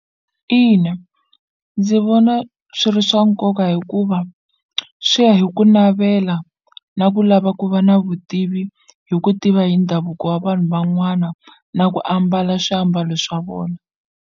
Ina ndzi vona swi ri swa nkoka hikuva swi ya hi ku navela na ku lava ku va na vutivi hi ku tiva hi ndhavuko wa vanhu van'wana na ku ambala swiambalo swa vona.